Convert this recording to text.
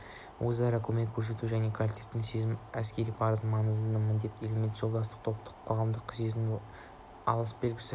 өзара көмек көрсету және коллектившілдік сезімі әскери парыздың маңызды да міндетті элементі жолдастық топтық-қоғамдық сезімнің асыл белгісі